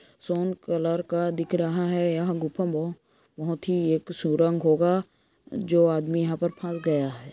सोन colour का दिख रहा है यह गुफा बहो-- बहोत ही सुरंग होगा जो आदमी यहाँ पर फस गया है।